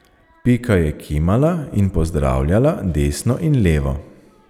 Pika je kimala in pozdravljala desno in levo.